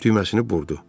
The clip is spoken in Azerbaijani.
Düyməsini burdu.